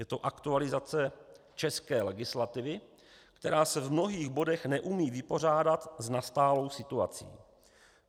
Je to aktualizace české legislativy, která se v mnohých bodech neumí vypořádat s nastalou situací.